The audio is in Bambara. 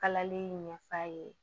Kalali ɲɛf'a ye